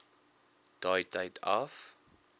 daai tyd af